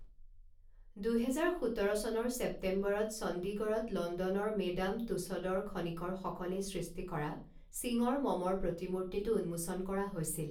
দুহেজাৰ সোতৰ চনৰ ছেপ্টেম্বৰত চণ্ডীগড়ত লণ্ডনৰ মেডাম টুছডৰ খনিকৰসকলে সৃষ্টি কৰা সিঙৰ মমৰ প্ৰতিমূৰ্তিটো উন্মোচন কৰা হৈছিল।